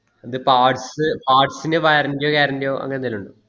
അതിൻ്റെ parts parts ൻ്റെയോ warranty ൻ്റെയോ guarantee യോ അങ്ങന എന്തേലും ഇണ്ടോ